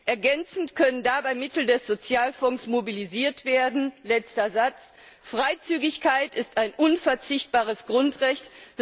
Ergänzend können dabei Mittel des Sozialfonds mobilisiert werden. Freizügigkeit ist ein unverzichtbares Grundrecht.